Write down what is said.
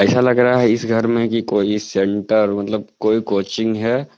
ऐसा लग रहा है इस घर में की कोई सेंटर मतलब कोई कोचिंग है।